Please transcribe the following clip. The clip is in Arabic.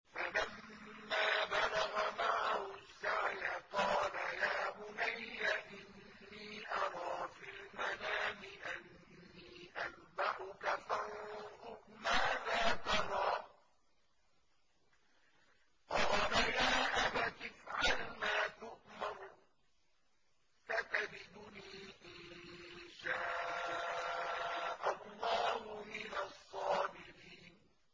فَلَمَّا بَلَغَ مَعَهُ السَّعْيَ قَالَ يَا بُنَيَّ إِنِّي أَرَىٰ فِي الْمَنَامِ أَنِّي أَذْبَحُكَ فَانظُرْ مَاذَا تَرَىٰ ۚ قَالَ يَا أَبَتِ افْعَلْ مَا تُؤْمَرُ ۖ سَتَجِدُنِي إِن شَاءَ اللَّهُ مِنَ الصَّابِرِينَ